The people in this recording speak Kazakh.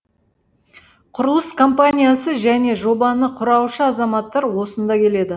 құрылыс компаниясы және жобаны құраушы азаматтар осында келеді